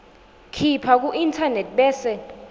khipha kuinternet bese